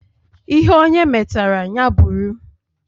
Ihe onye metara, ya bụrụ.